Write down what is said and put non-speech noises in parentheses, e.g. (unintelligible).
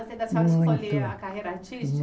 Muito (unintelligible) Da senhora escolher a carreira artística?